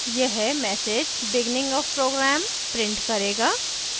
यह message beginning of program print करेगा